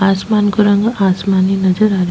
आसमान को रंग आसमानी नजर आ रहो --